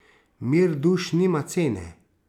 Mir duš nima cene.